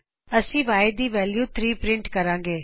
ਅੱਸੀ Y ਦੀ value 3 print ਕਰਾਗੇ